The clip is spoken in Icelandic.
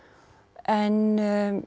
en